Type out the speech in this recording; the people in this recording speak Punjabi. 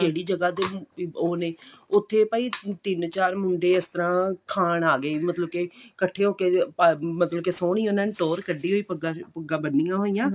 ਕਿਹੜੀ ਜਗ੍ਹਾ ਦੇ ਉਹ ਨੇ ਉੱਥੇ ਭਾਈ ਤਿੰਨ ਚਾਰ ਮੁੰਡੇ ਇਸ ਤਰ੍ਹਾਂ ਖਾਣ ਆਗੇ ਮਤਲਬ ਕਿ ਕੱਠੇ ਹੋ ਕਿ ਮਤਲਬ ਕਿ ਸੋਹਣੀ ਉਹਨਾ ਨੇ ਟੋਹਰ ਕੱਡੀ ਪੱਗਾਂ ਪੁੱਗਾਂ ਬੰਨੀਆਂ ਹੋਈਆਂ